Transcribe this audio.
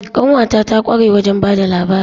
Ƙanwata ta kware wajen ba da labari.